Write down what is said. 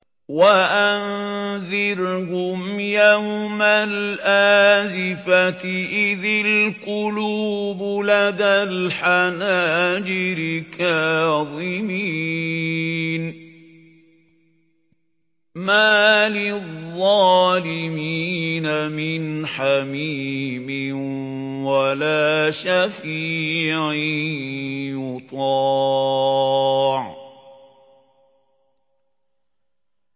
وَأَنذِرْهُمْ يَوْمَ الْآزِفَةِ إِذِ الْقُلُوبُ لَدَى الْحَنَاجِرِ كَاظِمِينَ ۚ مَا لِلظَّالِمِينَ مِنْ حَمِيمٍ وَلَا شَفِيعٍ يُطَاعُ